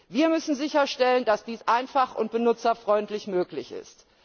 Wir müssen sicherstellen, dass dies einfach und benutzerfreundlich möglich ist.